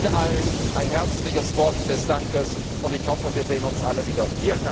Ihnen allen ein herzliches Wort des Dankes, und ich hoffe, wir sehen uns alle wieder!